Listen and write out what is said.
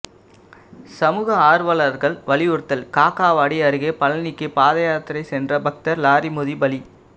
சமூக ஆர்வலர்கள் வலியுறுத்தல் காக்காவாடி அருகே பழனிக்கு பாதயாத்திரை சென்ற பக்தர் லாரி மோதி பலி